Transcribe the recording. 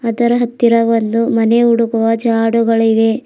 ಅದರ ಹತ್ತಿರ ಒಂದು ಮನೆ ಉಡುಗುವ ಜಾಡುಗಳಿವೆ.